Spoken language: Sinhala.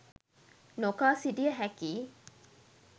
නොකා සිටිය හැකියි